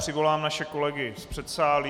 Přivolám naše kolegy z předsálí.